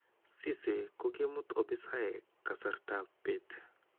Cisse' kokimuut opisaek kasartaab beet